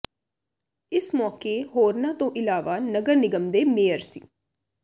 ਇਸ ਮੌਕੇ ਹੋਰਨਾਂ ਤੋਂ ਇਲਾਵਾ ਨਗਰ ਨਿਗਮ ਦੇ ਮੇਅਰ ਸ